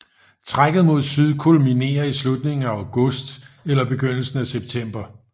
Trækket mod syd kulminerer i slutningen af august eller begyndelsen af september